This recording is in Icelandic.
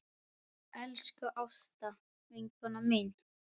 Elsku Ásta vinkona mín.